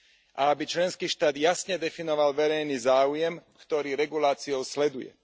A aby členský štát jasne definoval verejný záujem, ktorý reguláciou sleduje.